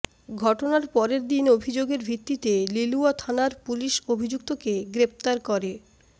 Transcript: ঘটনার পরেরদিন অভিযোগের ভিত্তিতে লিলুয়া থানার পুলিশ অভিযুক্তকে গ্রেফতার করে